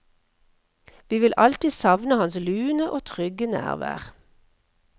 Vi vil alltid savne hans lune og trygge nærvær.